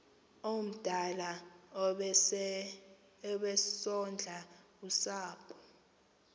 omdala obesondla usapho